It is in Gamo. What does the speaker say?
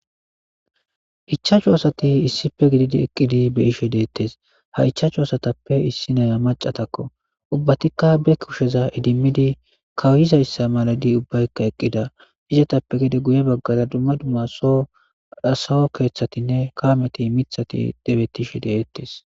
ichachu asati issife gididi eqqidi be ishe deettes ha ichaachu asatappe issi naya macatakko ubbatikka be kusheza idimmidi kawuyizayssa maladi ubbaykka eqqida izetappe gide guye baggada dumma dumma so asawo keeththatinne kaameti mithati debettishe deettes